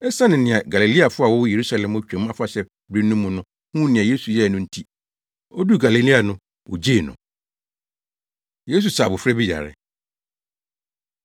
esiane nea Galileafo a wɔwɔ Yerusalem wɔ Twam Afahyɛ bere no mu no huu nea Yesu yɛe no nti, oduu Galilea no wogyee no. Yesu Sa Abofra Bi Yare